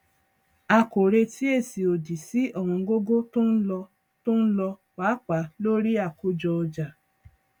a kò retí èsì òdì sí ọwọngógó tó ń lo tó ń lo pàápàá lórí àkójọọjà